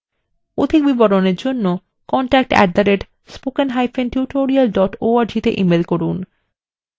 অধিক বিবরণের জন্য contact @spokentutorial org তে ইমেল করুন